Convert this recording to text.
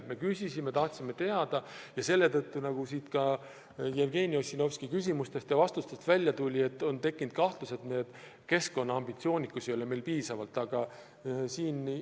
Me märkisime, nagu täna ka Jevgeni Ossinovski küsimustest ja talle antud vastustest välja tuli, et on tekkinud kahtlus, et keskkonna vallas ei ole meil piisavalt ambitsioonikust.